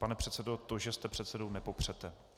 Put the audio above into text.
Pane předsedo, to, že jste předsedou, nepopřete.